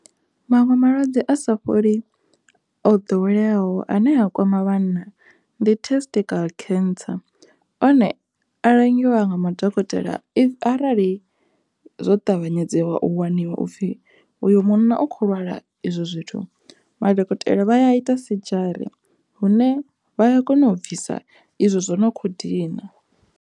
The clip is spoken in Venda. Maṅwe malwadze a sa fholi o ḓoweleaho ane a kwama vhanna ndi testical cancer, one a langiwa nga madokotela arali zwo ṱavhanyedze wa u waniwa upfhi uyo munna o kho lwala izwo zwithu madokotela vha ya a ita sedzhari hune vha ya kona u bvisa izwo zwo no kho dina.